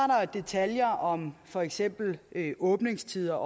detaljer om for eksempel åbningstider